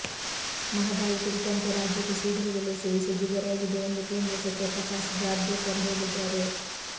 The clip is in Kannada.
ಮಹದಾಯಿ ಕುರಿತಂತೆ ರಾಜ್ಯಕ್ಕೆ ಶೀಘ್ರದಲ್ಲೇ ಸಿಹಿಸುದ್ದಿ ದೊರೆಯಲಿದೆ ಎಂದು ಕೇಂದ್ರ ಸಚಿವ ಪ್ರಕಾಶ್ ಜಾಬ್ಡೇಕರ್ ಹೇಳಿದ್ದಾರೆ